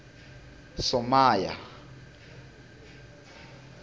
somaya